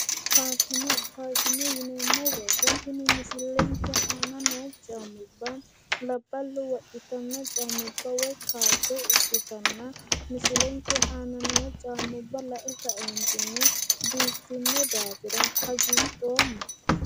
Faashine. faashine yineemmo woyite tini misilenke aana noo caammubba labballu wodhitanno caamubba woyi koatte ikkitino misilenke aana noo caammubba lae kaeentinni biiffino daafira hagiidhoomma.